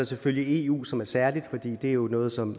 selvfølgelig eu som er noget særligt for det er jo noget som